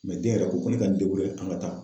den yɛrɛ ko ko ne ka an ka taa.